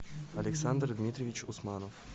александр дмитриевич усманов